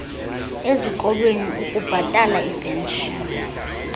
ezikolweni ukubhatala iipenshini